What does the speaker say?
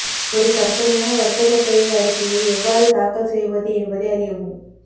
ஒரு கற்பனையான வர்த்தக பெயர் அறிக்கையை எவ்வாறு தாக்கல் செய்வது என்பதை அறியவும்